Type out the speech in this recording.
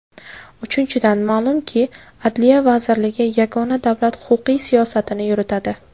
Uchinchidan , ma’lumki, Adliya vazirligi yagona davlat huquqiy siyosatini yuritadi.